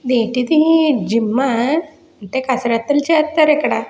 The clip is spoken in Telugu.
ఏంటి ఇది జిం ఆ అంటే కసరత్తులు చేస్తారు ఇక్కడ.